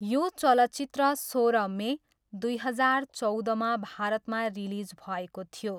यो चलचित्र सोह्र मे दुई हजार चौधमा भारतमा रिलिज भएको थियो।